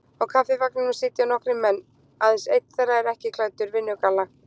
Á Kaffivagninum sitja nokkrir menn, aðeins einn þeirra er ekki klæddur vinnugalla.